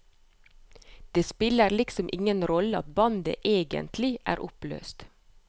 Det spiller liksom ingen rolle at bandet egentlig er oppløst.